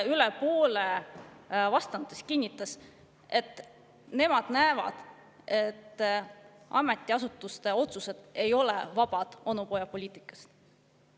Üle poole vastanutest kinnitas, et nemad näevad, et ametiasutuste otsused ei ole vabad onupojapoliitikast.